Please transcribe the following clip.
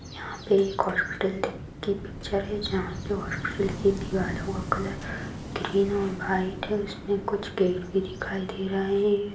यहाँ पे एक हॉस्पिटल की पिक्चर हैं जहां पे हॉस्पिटल की दिवलो का कलर ग्रीन और वाइट हैं कुछ गेट भी दिखाए दे रहा है।